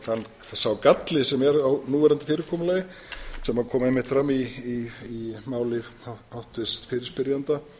að sá galli sem er á núverandi fyrirkomulagi sem kom einmitt fram í máli háttvirts fyrirspyrjanda